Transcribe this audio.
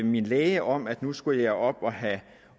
min læge om at nu skal jeg op og have